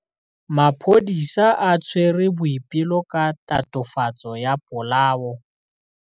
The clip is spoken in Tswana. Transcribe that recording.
Maphodisa a tshwere Boipelo ka tatofatsô ya polaô.